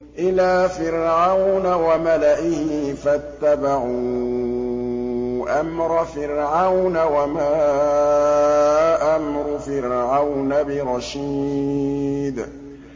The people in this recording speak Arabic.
إِلَىٰ فِرْعَوْنَ وَمَلَئِهِ فَاتَّبَعُوا أَمْرَ فِرْعَوْنَ ۖ وَمَا أَمْرُ فِرْعَوْنَ بِرَشِيدٍ